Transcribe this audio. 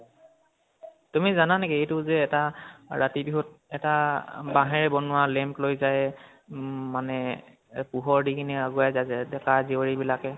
তুমি জানে নেকি এইটো যে এটা ৰাতি বিহুত এটা বাহেঁৰে বনোৱা lamp লৈ যায় উম মানে পোহৰ দি কেনে আগুৱাই যায় ডেকা জিয়ৰী বিলাকে